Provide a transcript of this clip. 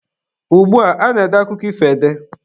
Ugbua, a na-ede akụkọ ifo ede.